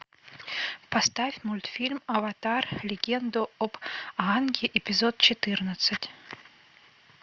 поставь мультфильм аватар легенда об аанге эпизод четырнадцать